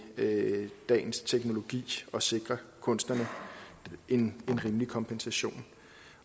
dagens teknologi og sikret kunstnerne en rimelig kompensation